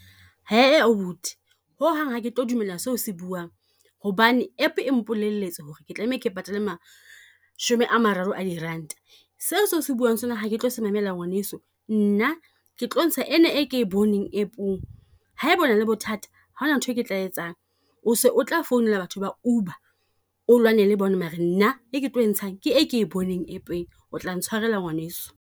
Abuti, ho hang ha ke tlo dumella seo o se buang, hobane app e mpolelletse ho re ke tlameha ke patale mashome a mararo a diranta. Seo se o se buang sona ha ke tlo se mamela ngwaneso, nna ke tlo ntsha ena e ke boneng app-ong. Ha eba ona le bothata haona nthwe ke tla e etsang, o se o tla phone-ela batho ba UBER a lwane le bona, mare nna e ke tlo etshang ke e ke e boneng app-eng, o tla ntshwarela ngwaneso.